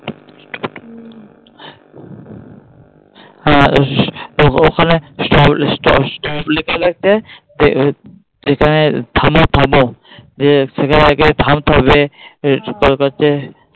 হ্যাঁ ওখানে